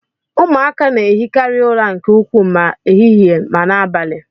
Ụmụaka na ehikarị ụra nke ukwuu ma ehihie ma n'abalị.